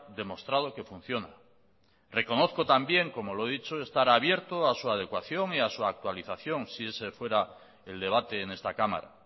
demostrado que funciona reconozco también como lo he dicho estar abierto a su adecuación y a su actualización si ese fuera el debate en esta cámara